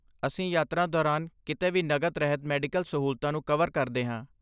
ਅਸੀਂ ਯਾਤਰਾ ਦੌਰਾਨ ਕਿਤੇ ਵੀ ਨਕਦ ਰਹਿਤ ਮੈਡੀਕਲ ਸਹੂਲਤਾਂ ਨੂੰ ਕਵਰ ਕਰਦੇ ਹਾਂ।